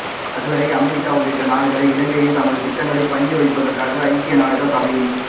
அதுவரை அமெரிக்கா உள்ளிட்ட நாடுகள் இலங்கையை தமது திட்டங்களுக்கு பணிய வைப்பதற்காக ஐக்கிய நாடுகள் சபையின்